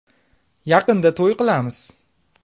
Yaqinda to‘y qilamiz.